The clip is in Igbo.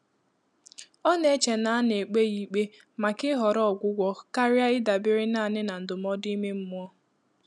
Ọ́ nà-échè nà á nà-ékpé yá íkpé màkà ị́họ́rọ́ ọ́gwụ́gwọ́ kàrị́à ị́dàbéré nāànị́ nà ndụ́mọ́dụ́ ímé mmụ́ọ́.